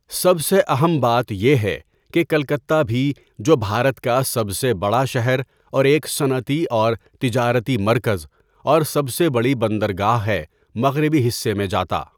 سب سے اہم بات یہ ہے کہ کلکتہ بھی، جو بھارت کا سب سے بڑا شہر اور ایک صنعتی اور تجارتی مرکز اور سب سے بڑی بندرگاہ ہے، مغربی حصے میں جاتا۔